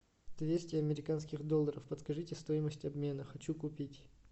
двести американских долларов подскажите стоимость обмена хочу купить